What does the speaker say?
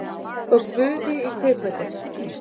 Og guði í kaupbæti.